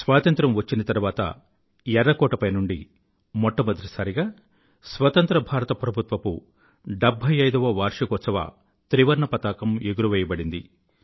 స్వాతంత్రం వచ్చిన తరువాత ఎర్రకోటపై నుండి మొట్టమొదటిసారిగా స్వాతంత్ర భారత ప్రభుత్వపు 75వ వార్షికోత్సవ త్రివర్ణపతాకం ఎగురవేయబడింది